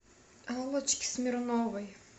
аллочки смирновой